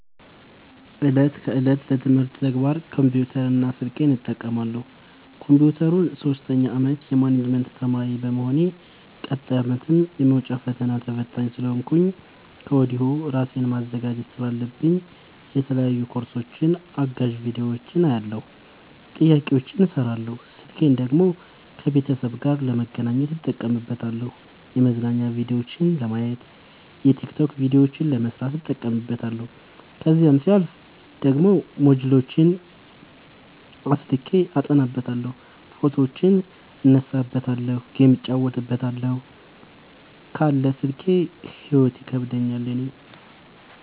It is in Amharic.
እለት ከእለት ለትምህርት ተግባር ኮምፒውተር እና ስልኬን እጠቀማለሁ። ኮንፒውተሩን ሶስተኛ አመት የማኔጅመት ተማሪ በመሆኔ ቀጣይ አመትም የመውጫ ፈተና ተፈታኝ ስለሆንኩኝ ከወዲሁ እራሴን ማዘጋጀት ስላለብኝ የተለያዩ ኮርሶችን አጋዝ ቢዲዮዎችን አያለሁ። ጥያቄዎችን እሰራለሁ። ስልኬን ደግሞ ከቤተሰብ ጋር ለመገናኘት እጠቀምበታለሁ የመዝናኛ ቭዲዮዎችን ለማየት። የቲክቶክ ቪዲዮዎችን ለመስራት እጠቀምበታለሁ። ከዛሲያልፍ ደግሞ ሞጅልዎችን አስልኬ አጠናበታለሁ። ፎቶዎችን እነሳበታለሀለ። ጌም እጫወትበታለሁ ካለ ስልኬ ሂይወት ይከብደኛል እኔ።